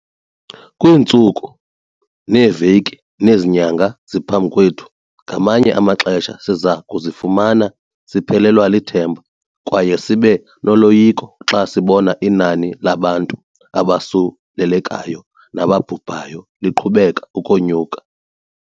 Kwiintsuku, neeveki nezi nyanga ziphambi kwethu, ngamanye amaxesha siza kuzifumana siphelelwa lithemba kwaye sibe noloyiko xa sibona inani labantu abosulelekayo nababhubhayo liqhubeka ukonyuka.